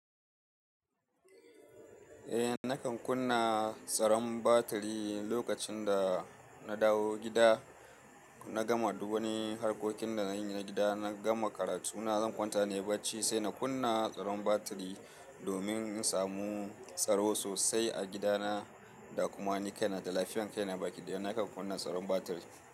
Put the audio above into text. Eh nakan kunna tsaron batiri lokacin da na dawo gida, na gama duk wani harkokin da na yi na gida, na gama karatu, na zan kwanta ne barci sai na kunna tsaron batiri domin in samu tsaro sosai a gidana da kuma ni kaina da lafiyan kaina ba ki dai na kan kunna tsaron batiri.